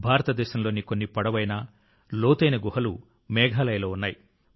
భారతదేశంలోని కొన్ని పొడవైన లోతైన గుహలు మేఘాలయలో ఉన్నాయి